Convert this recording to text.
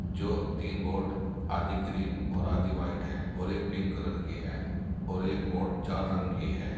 जो तीन बोट आधी ग्रीन और आधी व्हाइट है और एक पिंक कलर की है और एक बोट चार रंग की है।